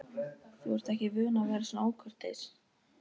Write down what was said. Þú ert ekki vön að vera svona ókurteis.